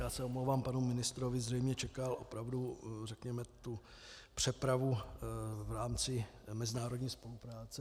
Já se omlouvám panu ministrovi, zřejmě čekal opravdu řekněme tu přepravu v rámci mezinárodní spolupráce.